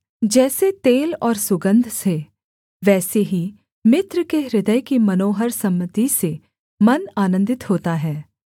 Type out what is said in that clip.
जैसे तेल और सुगन्ध से वैसे ही मित्र के हृदय की मनोहर सम्मति से मन आनन्दित होता है